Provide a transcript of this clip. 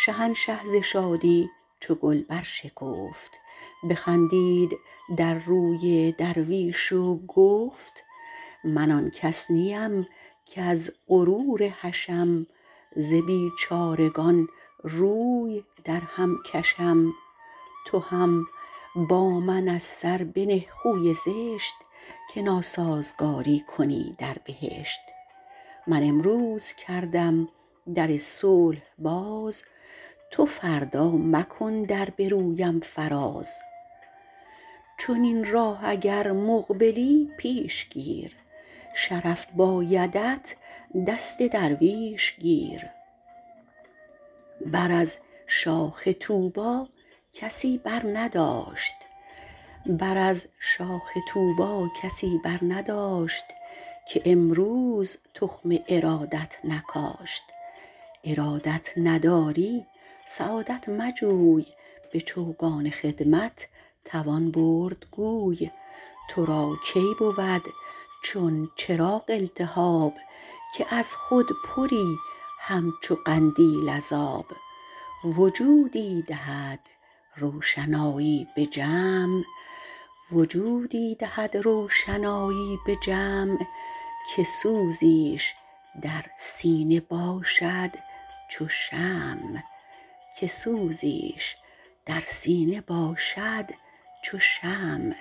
شهنشه ز شادی چو گل بر شکفت بخندید در روی درویش و گفت من آن کس نیم کز غرور حشم ز بیچارگان روی در هم کشم تو هم با من از سر بنه خوی زشت که ناسازگاری کنی در بهشت من امروز کردم در صلح باز تو فردا مکن در به رویم فراز چنین راه اگر مقبلی پیش گیر شرف بایدت دست درویش گیر بر از شاخ طوبی کسی بر نداشت که امروز تخم ارادت نکاشت ارادت نداری سعادت مجوی به چوگان خدمت توان برد گوی تو را کی بود چون چراغ التهاب که از خود پری همچو قندیل از آب وجودی دهد روشنایی به جمع که سوزیش در سینه باشد چو شمع